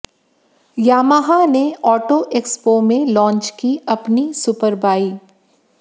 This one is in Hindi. यामाहा ने ऑटो एक्सपो में लांच की अपनी सुपरबाइक